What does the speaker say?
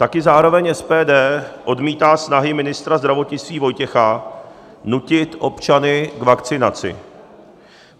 Také zároveň SPD odmítá snahy ministra zdravotnictví Vojtěcha nutit občany k vakcinaci.